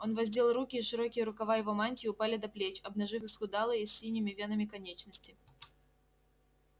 он воздел руки и широкие рукава его мантии упали до плеч обнажив исхудалые с синими венами конечности